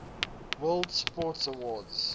world sports awards